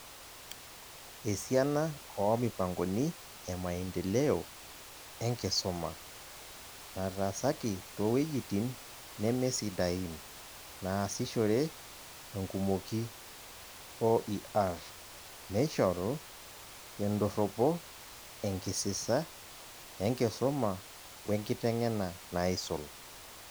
Esiana oomipangoni emaendeleo enkisuma, nataasaki towejitin neme sidain naasishore enkumoki OER , neishoru tendorropo enkisisa enkisumawenkiteng'ena naisul.